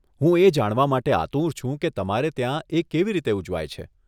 હું એ જાણવા માટે આતુર છું કે તમારે ત્યાં એ કેવી રીતે ઉજવાય છે.